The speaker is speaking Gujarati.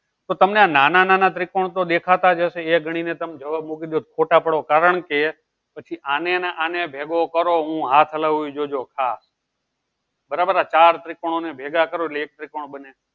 તો તમને નાના નાના ત્રિકોણ તો દેખાતા જશે એ ગણીને તમે જવાબ મૂકી દો photo પાડો કારણ કે પછી આને અને આને ભેગો કરો હું હાથ લાવવી જોજો હા આ ચાર ત્રિકોણોને ભેગા કરો